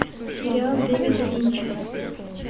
сериал дэвида линча